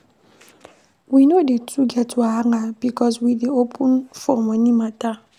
We no dey too get wahala because we dey open for moni mata.